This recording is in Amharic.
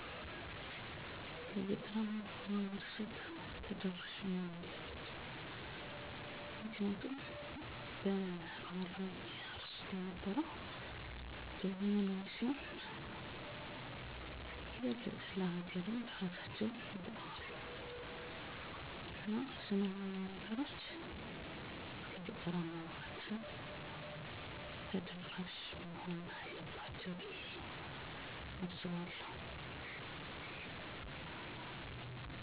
በገጠር አካባቢ እነዚህን ሶስት ነገሮች ቢተገበሩ -ወጣቶች የአካባቢዎቻቸውን ሀብት እንዴት መጠቀም እንደሚችል ተረድተው አካባቢያቸውን አልምተው እራሳቸውን፤ ቤተሰቦቻቸውን ብሎም ሀገርን ይጠቅማሉ። ዘመናዊ ትምህርት፤ ግብርና እና ኢንዱስትሪዎች ለገጠራማው ማህበረሰብ ተደራሽ ከተደረገ የሀገር ሰላም፤ እድገት እና ብልፅግና ይመጣል። የስደት መንስኤዎች እንደ ስላም አለመኖር፤ ርሀብ፤ የስራ እድል አለመኖር፤ ሰብአዊ እና ዲሞክራሲያዊ መብቶች አለመከበር ሲሆኑ -እነዚህ ችግሮች የሚፈቱት ሰላም ሲኖር ወይም ጦርነት ሲቆም፤ የተለያዬ እንዱስትሪዎች ሲከፈቱ እና ስራ እድል ሲኖር፤ ዲሞክራሲ ሲሰፍን፤ ለወጣቱ የሀገራች የተፈጥሮ ሀብት በመጠቀም እንዴት ተሰርቶ ሀብት ማፍራት እንደሚቻል በተግባር በማስተማር ወደ ስራ በማሰማራት እና ምርታማነትን ማሳደግ።